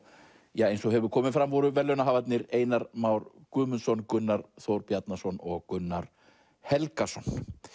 eins og hefur komið fram voru verðlaunahafarnir Einar Már Guðmundsson Gunnar Þór Bjarnason og Gunnar Helgason